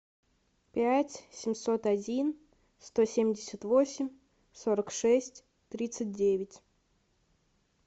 пять семьсот один сто семьдесят восемь сорок шесть тридцать девять